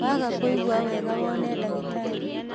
Waaga kũigua wega woone ndagitarĩ.